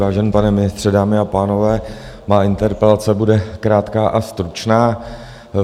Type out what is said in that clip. Vážený pane ministře, dámy a pánové, má interpelace bude krátká a stručná.